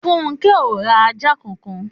Funke o ra ajá kankan.